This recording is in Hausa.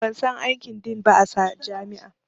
Ban san aikin Din ba a jami'a